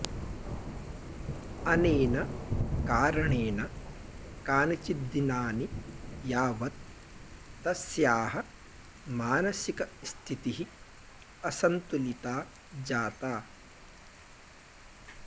अनेन कारणेन कानिचिद्दिनानि यावत् तस्याः मानसिकस्थितिः असन्तुलिता जाता